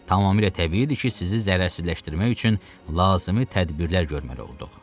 Tamamilə təbiidir ki, sizi zərərsizləşdirmək üçün lazımi tədbirlər görməli olduq.